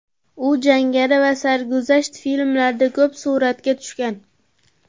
U jangari va sarguzasht filmlarda ko‘p suratga tushgan.